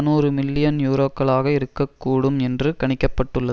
நூறு மில்லியன் யூரோக்களாக இருக்க கூடும் என்று கணிக்க பட்டுள்ளது